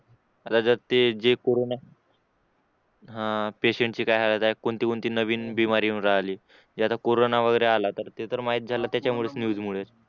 आता जर ते जे कोरोना आहे हा ते त्यांची काय हालत आहे कोणते कोणते नवीन बिमारी येऊन राहिले जे आता कोरोना आला ते तर माहीत झालं त्याच्यामुळे न्यूज मुळे